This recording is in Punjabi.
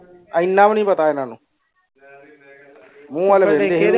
ਐਨਾ ਵੀ ਨੀ ਪਤਾ ਐਨਾ ਨੂੰ ਮੁਨ ਆਲੂ ਵੈਖਦੇ ਨੇ.